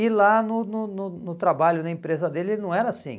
E lá no no no no trabalho, na empresa dele, ele não era assim.